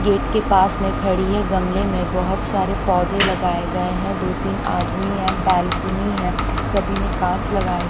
gate के पास में खड़ी है गमले में बहुत सारे पौधे लगाए गए हैं दो तीन आदमी हैं बैलकुनी है सभी में कांच लगाए--